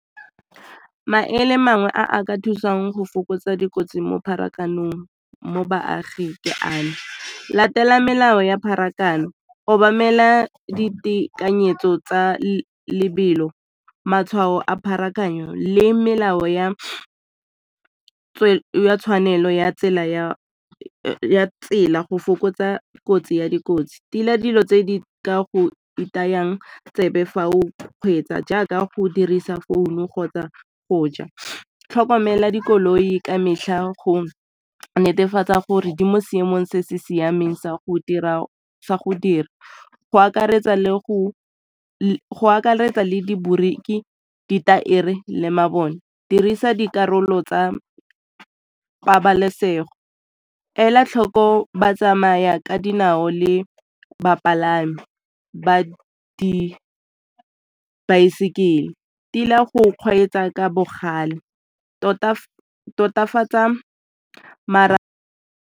Maele mangwe a ka thusang go fokotsa dikotsi mo pharakanong mo baaging ke ano, latela melao ya pharakano, obamela ditekanyetso tsa lebelo, matshwao a pharakano le melao ya tshwanelo ya tsela go fokotsa kotsi ya dikotsi. Tila dilo tse di ka go itayang tsebe fa o kgweetsa jaaka go dirisa founu kgotsa go ja, tlhokomela dikoloi ka metlha go netefatsa gore di mo seemong se se siameng sa go dira go akaretsa le di boriki, ditaere le mabone. Dirisa dikarolo tsa pabalesego ela tlhoko ba tsamaya ka dinao le bapalami ba dibaesekele, Tila go kgweetsa ka bogale totafatsa .